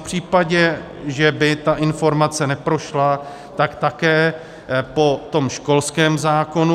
V případě, že by ta informace neprošla, tak také po tom školském zákonu.